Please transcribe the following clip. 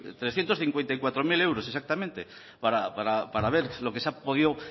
trescientos cincuenta y cuatro mil euros exactamente para ver lo que se ha podido